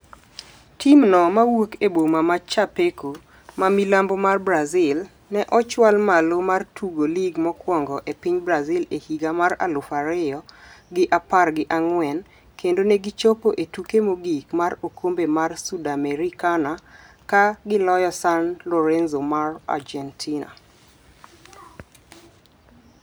Timno mawuok e boma ma Chapeco, ma milambo mar Brazil, ne ochwal malo mar tugo lig mokwongo e piny Brazil e higa mar aluf ariyo gi apar gi ang'wen kendo ne gichopo e tuke mogik mar okombe mar Sudamericana ka giloyo San Lorenzo mar Argentina.